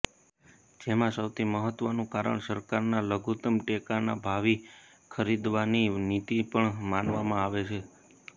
જેમાં સૌથી મહત્વનું કારણ સરકારના લઘુતમ ટેકાના ભાવી ખરીદવાની નીતિ પણ માનવામાં આવે છે